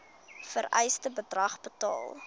vereiste bedrag betaal